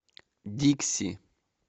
дикси